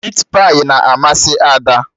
Mit pai na amasị Ada